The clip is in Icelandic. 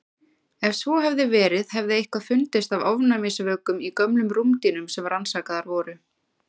Ef svo hefði verið hefði eitthvað fundist af ofnæmisvökum í gömlum rúmdýnum sem rannsakaðar voru.